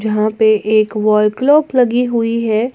यहां पे एक वॉल क्लॉक लगी हुई है।